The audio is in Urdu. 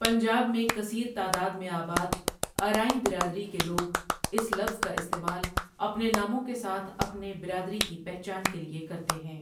پنجاب میں کثیرتعداد میں آباد، ارائیں برادری کے لوگ اس لفظ کااستعمال اپنےناموں کےساتھ اپنے برادری کی پہچان کیلےکرتےہیں۔